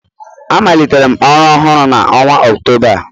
Amalitere m ọrụ ọhụrụ a n'ọnwa Ọktoba a